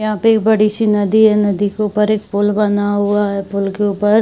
यहाँ पे बड़ी सी नदी है । नदी के ऊपर एक पुल बना हुआ है । पुल के ऊपर --